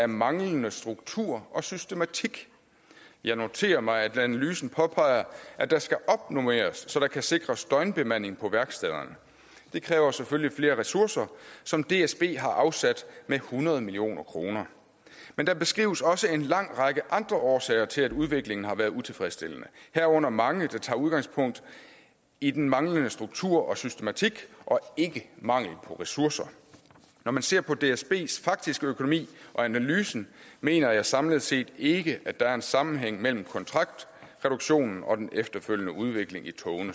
manglende struktur og systematik jeg noterer mig at analysen påpeger at der skal opnormeres så der kan sikres døgnbemanding på værkstederne det kræver selvfølgelig flere ressourcer som dsb har afsat med hundrede million kroner men der beskrives også en lang række andre årsager til at udviklingen har været utilfredsstillende herunder mange der tager udgangspunkt i den manglende struktur og systematik og ikke i mangel på ressourcer når man ser på dsbs faktiske økonomi og analysen mener jeg samlet set ikke at der er en sammenhæng mellem kontraktreduktionen og den efterfølgende udvikling